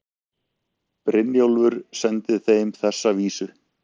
Brynjólfur sendi þeim þessa vísu